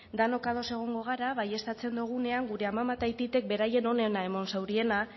denok ados egongo gara baieztatzen dugunean gure amama eta aitite beraien onena eman zauriena